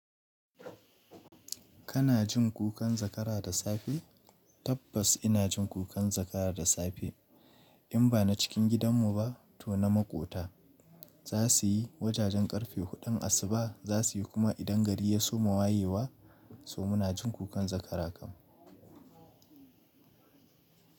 Kana jin kukan zakara da safe? Tabbas ina jin kukan zakara da safe. In ba na cikin gidanmu ba to na maƙota. Za su yi wajajen ƙarfe huɗun asuba. Za su yi kuma idan gari ya so mawayewa, so muna jin kukan zakara kam.